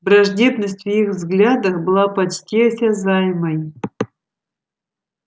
враждебность в их взглядах была почти осязаемой